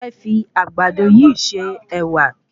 Mo fẹ́ fi Àgbàdo yìí se Ẹ̀wà